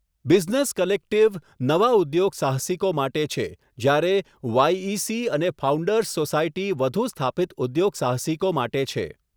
Business collective નવા ઉદ્યોગસાહસિકો માટે છે જ્યારે વાયઇસી અને ફાઉન્ડર્સ સોસાયટી વધુ સ્થાપિત ઉદ્યોગસાહસિકો માટે છે.